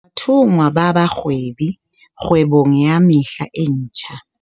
Bathonngwa ba Bahwebi kgwebong ya Mehla e Metjha